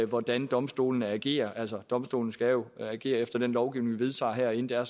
hvordan domstolene agerer altså domstolene skal jo agere efter den lovgivning vi vedtager herinde det er